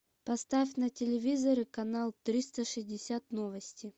поставь на телевизоре канал триста шестьдесят новости